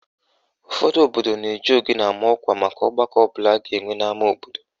Ụfọdụ obodo na-eji ogene ama ọkwa maka ọgbakọ ọbụla a ga-enwe n'ama obodo